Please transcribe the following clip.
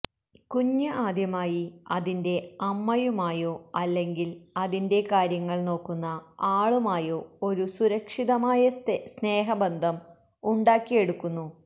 കുഞ്ഞ് ആദ്യമായി അതിന്റെ അമ്മയുമായോ അല്ലെങ്കിൽ അതിന്റെ കാര്യങ്ങൾ നോക്കുന്ന ആളുമായോ ഒരു സുരക്ഷിതമായ സ്നേഹബന്ധം ഉണ്ടാക്കിയെടുക്കുന്നു